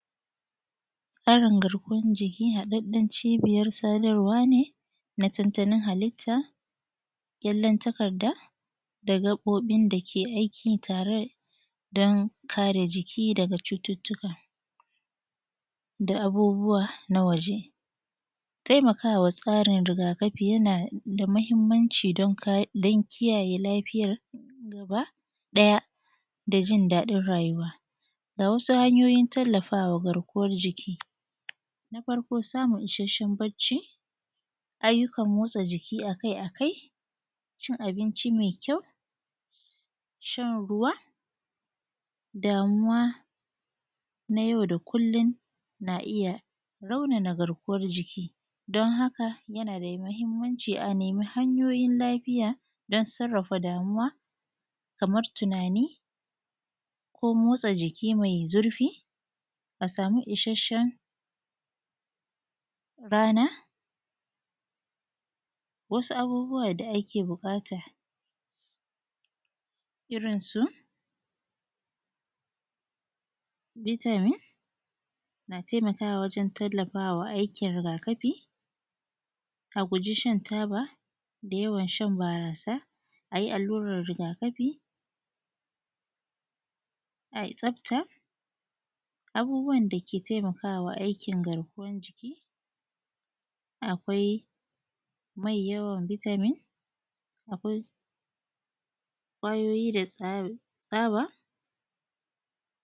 Tsarin garkuwan jiki haɗaɗɗan cibiyar sadarwa ne na tattalin halitta ƙyallen takarda da gaɓoɓin da ke aiki tare don kare jiki daga cututtuka da abubuwa na waǳe. Taimaka wa tsarin rigaakafi yana da mahimmanci don kare don kiyaye lafiyar gaba-ɗaya da jin daɗin rayuwa. Ga wasu hanyooyin tallafa wa garkuwar jiki; Na farko samun isasshen bacci, ayyukan motsa jiki akai-akai, cin abinci mai kyau shan ruwa, damuwa na yau da kullum na iya raunana garkuwar jiki don haka yana da mahimmanci a neemi hanyooyin lafiya don sarrafa damuwa, kamar tunaani, ko mootsa jiki mai zurfi a sami isasshen rana. Wasu abubuwa da ake buƙata irin su: Vitamin na taimakawa wajen tallafawa aikin rigaakafi, a guje shan ta ba da yawan shan baaraasa, a yi alluran rigaakafi, ai tsafta, abubuwan da ke taimaka wa aikin garkuwan jiki, akwai mai yawan Vitamin, akwai ƙwayoyi da tsaba.